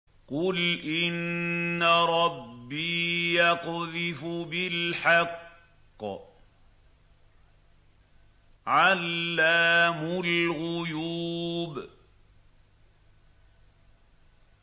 قُلْ إِنَّ رَبِّي يَقْذِفُ بِالْحَقِّ عَلَّامُ الْغُيُوبِ